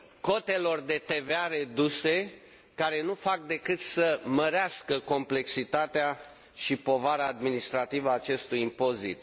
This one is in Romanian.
cotelor de TVA reduse, care nu fac decât să mărească complexitatea și povara administrativă a acestui impozit.